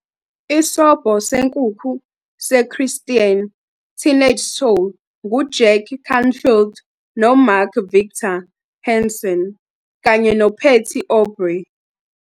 Isobho Senkukhu seChristian Teenage Soul nguJack Canfield noMark Victor Hansen kanye noPatty Aubery